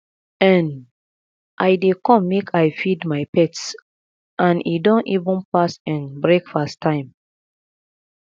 um i dey come make i feed my pets and e don even pass um breakfast time